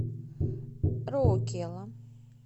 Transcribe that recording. роукела